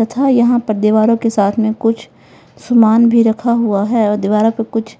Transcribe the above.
तथा यहां पर दीवारों के साथ में कुछ सामान भी रखा हुआ है और दीवारों पे कुछ